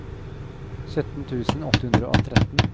sytten tusen åtte hundre og tretten